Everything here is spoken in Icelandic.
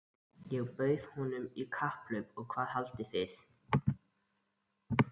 Ég bauð honum í kapphlaup og hvað haldið þið?